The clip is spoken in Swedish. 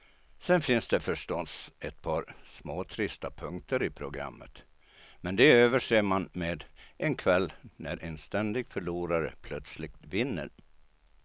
Sen finns det förstås ett par småtrista punkter i programmet, men de överser man med en kväll när en ständig förlorare plötsligt vinner.